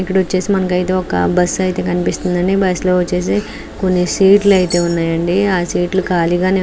ఇక్కడ వచ్చేసి మనకు ఒక బస్సు ఐతే కనిపిస్తుంది అండి. బస్సు లో వచ్చేసి కొన్ని సీట్లు ఐతే కనిపిస్తుంది అండి. ఆ సీట్లు కాళిగా ఉందండి.